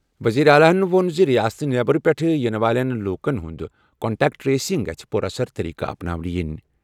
وزیر اعلیٰ ووٚن زِ ریاستَو نٮ۪برٕ پٮ۪ٹھٕ یِنہٕ وٲلۍ لوٗکَن ہُنٛد کنٹیکٹ ٹریسنگ گژھِ پُر اثر طریقہٕ اپناو نہٕ یِن۔